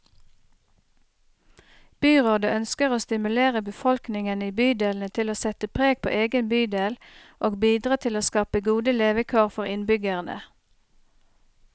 Byrådet ønsker å stimulere befolkningen i bydelene til å sette preg på egen bydel, og bidra til å skape gode levekår for innbyggerne.